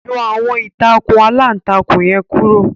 Yọ àwọn ìtakùn alantakùn yẹn kuro